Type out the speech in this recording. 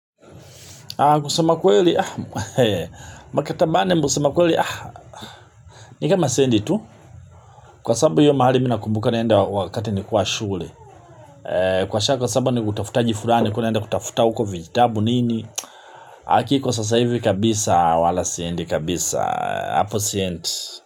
Kusema kweli, makatabane kusema kweli. Ni kama sendi tu, kwa sababu hiyo mahali mi nakumbuka naenda wakati nilikuwa shule. Kwa shako sabu ni kutafuta jifurani, kunaenda kutafuta uko vijitabu nini. Aki kwa sasa hivi kabisa wala siendi kabisa, hapo siendi.